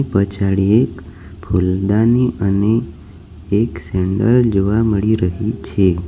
પચાડી એક ફૂલદાની અને એક સેન્ડલ જોવા મળી રહી છે.